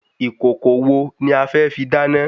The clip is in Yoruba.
Ìkòkò wo ni afẹ́ fi dáná?